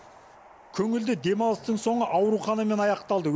көңілді демалыстың соңы ауруханамен аяқталды